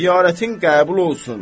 Ziyarətin qəbul olsun.